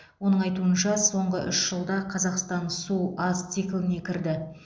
оның айтуынша соңғы үш жылда қазақстан су аз цикліне кірді